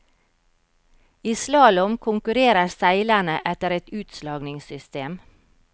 I slalåm konkurrerer seilerne etter et utslagningssystem.